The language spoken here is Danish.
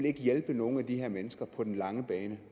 ikke hjælpe nogen af de her mennesker på den lange bane